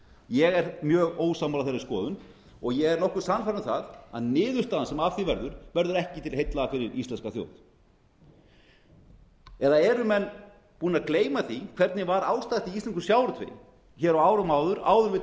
ég er mjög ósammála þeirri skoðun og ég er nokkuð sannfærður um það að niðurstaðan sem af því verður verður ekki til heilla fyrir íslenska þjóð eða eru menn búnir að gleyma því hvernig var ástatt í íslenskum sjávarútvegi hér á árum áður áður en við